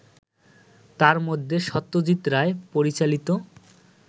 তার মধ্যে সত্যজিৎ রায় পরিচালিত